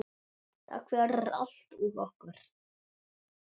Takk fyrir allt og okkur.